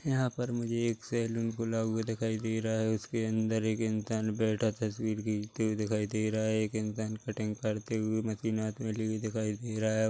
यहाँ पर मुझे एक सैलून खुला हुआ दिखाई दे रहा है उसके अंदर एक इंसान बैठा तस्वीर खींचते हुए दिखाई दे रहा है एक इंसान कटिंग करते हुए मशीन हाथ मे लिए दिखाई दे रहा है।